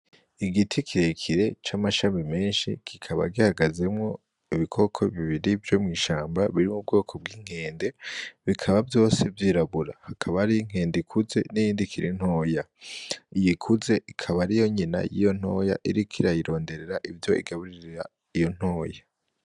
Igiti kirekire c'amashami menshi kikaba gihagazemwo ibikoko bibiri vyo mw'ishamba biri mu bwoko bw'inkende, bikaba vyose vyirabura hakaba harih'inkende ikuze n'iyindi ikiri ntoya, iyikuze ikaba ariyo nyina yiyo ntoya irik'irayironderera ivyo igaburira iyo ntoya.